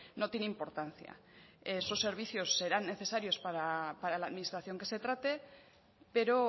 no tiene importancia esos servicios serán necesarios para la administración que se trate pero